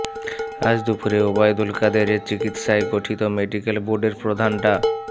আজ দুপুরে ওবায়দুল কাদেরের চিকিৎসায় গঠিত মেডিকেল বোর্ডের প্রধান ডা